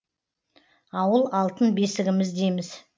ауыл алтын бесігіміз дейміз